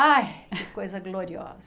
Ai, coisa gloriosa.